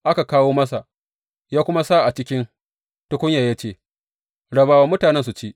Aka kawo masa ya kuma sa a cikin tukunyan ya ce, Raba wa mutanen su ci.